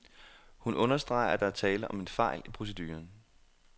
Hun understreger, at der er tale om en fejl i proceduren.